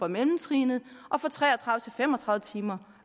mellemtrinnet og fra tre og tredive til fem og tredive timer